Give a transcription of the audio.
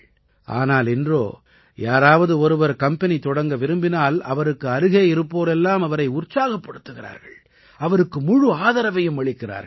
ஆனால் இன்றோ யாராவது ஒருவர் கம்பெனி தொடங்க விரும்பினால் அவருக்கு அருகே இருப்போர் எல்லாம் அவரை உற்சாகப்படுத்துகிறார்கள் அவருக்கு முழு ஆதரவையும் அளிக்கிறார்கள்